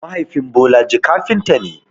Mahaifin Bolaji kafinta ne.